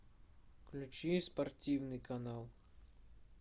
включи спортивный канал